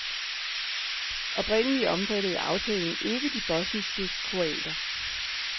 Oprindeligt omfattede aftalen ikke de bosniske kroater.